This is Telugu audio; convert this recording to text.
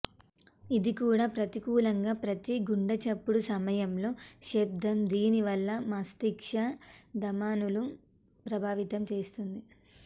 ఇది కూడా ప్రతికూలంగా ప్రతి గుండెచప్పుడు సమయంలో శబ్దం దీనివల్ల మస్తిష్క ధమనుల ప్రభావితం చేస్తుంది